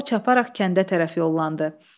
O çaparaq kəndə tərəf yollandı.